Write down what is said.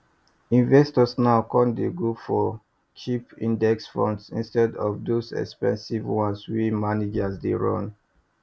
investors now con dey go for go for cheap index funds instead of those expensive ones wey manager dey run